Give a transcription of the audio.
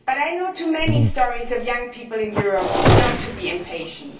But I know too many stories about young people in Europe not to be patient.